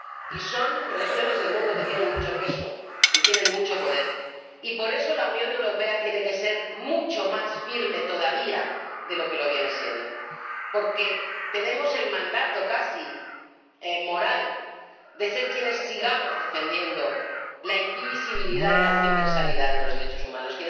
Y son regiones del mundo que tienen mucho peso y tienen mucho poder, y por eso la Unión Europea tiene que ser mucho más firme todavía de lo que lo viene siendo, porque tenemos el mandato, casi moral, de ser quienes sigamos defendiendo la indivisibilidad y la universalidad de los derechos humanos